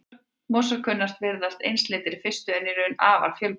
Mosar kunna að virðast einsleitir í fyrstu en eru í raun afar fjölbreytilegir.